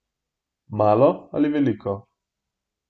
Malo ali veliko?